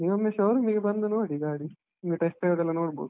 ನೀವೊಮ್ಮೆ showroom ಇಗೆ ಬಂದು ನೋಡಿ ಗಾಡಿ, ನಿಮಗೆ test drive ಅದೆಲ್ಲ ನೋಡ್ಬೋದು.